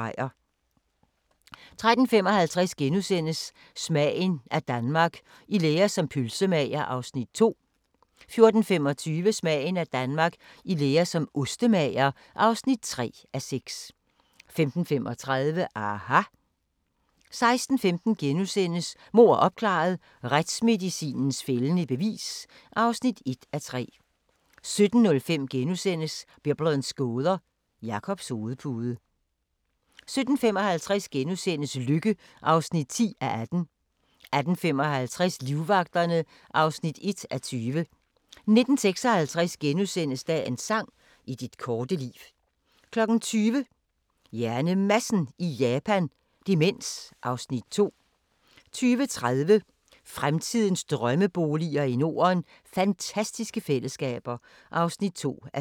13:55: Smagen af Danmark – i lære som pølsemager (2:6)* 14:25: Smagen af Danmark – I lære som ostemager (3:6) 15:35: aHA! 16:15: Mord opklaret – Retsmedicinens fældende bevis (1:3)* 17:05: Biblens gåder – Jakobs hovedpude * 17:55: Lykke (10:18)* 18:55: Livvagterne (1:20) 19:56: Dagens sang: I dit korte liv * 20:00: HjerneMadsen i Japan – Demens (Afs. 2) 20:30: Fremtidens Drømmeboliger i Norden: Fantastiske fællesskaber (2:4)